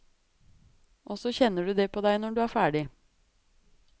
Og så kjenner du det på deg når det er ferdig.